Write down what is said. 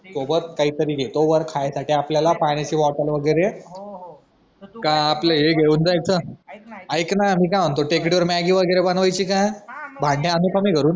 सोबत काही तरी घेतो वर खाण्यासाठी आपल्या पाण्याची बॉटल वैगेरे काय आपला हे घेऊन जायचा ऐक ना मी काय म्हणतो टेकडीवर मॅग्गी वगैरे बनवायची का भांडी आणू का मी घरून